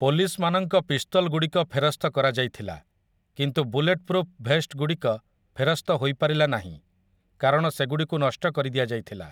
Police ମାନଙ୍କ ପିସ୍ତଲ୍‌ଗୁଡ଼ିକ ଫେରସ୍ତ କରାଯାଇଥିଲା, କିନ୍ତୁ ବୁଲେଟ୍‌ପ୍ରୁଫ୍ ଭେଷ୍ଟ୍‌ଗୁଡ଼ିକ ଫେରସ୍ତ ହୋଇପାରିଲା ନାହିଁ କାରଣ ସେଗୁଡ଼ିକୁ ନଷ୍ଟ କରିଦିଆଯାଇଥିଲା ।